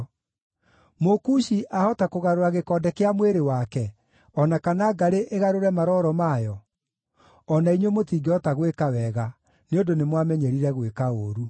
Mũkushi ahota kũgarũra gĩkonde kĩa mwĩrĩ wake, o na kana ngarĩ ĩgarũre maroro mayo? O na inyuĩ mũtingĩhota gwĩka wega, nĩ ũndũ nĩ mwamenyerire gwĩka ũũru.